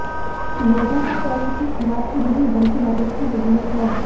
लोगों को कर्ज की खुराक की नहीं बल्कि मदद की जरूरत है